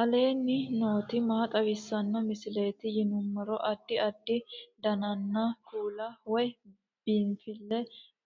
aleenni nooti maa xawisanno misileeti yinummoro addi addi dananna kuula woy biinsille